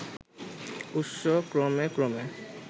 উৎস ক্রমে ক্রমে